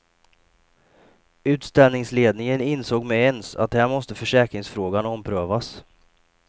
Utställningsledningen insåg med ens att här måste försäkringsfrågan omprövas.